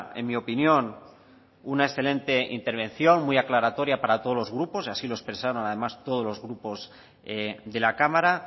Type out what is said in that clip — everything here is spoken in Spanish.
en mi opinión una excelente intervención muy aclaratoria para todos los grupos y así lo expresaron además todos los grupos de la cámara